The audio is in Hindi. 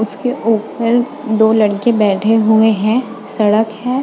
उसके ऊपर दो लड़के बैठे हुए हैं सड़क है।